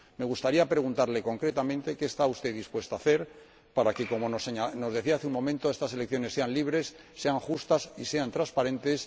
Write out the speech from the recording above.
Me gustaría preguntarle concretamente qué está usted dispuesta a hacer para que, como nos decía hace un momento, estas elecciones sean libres, sean justas y sean transparentes.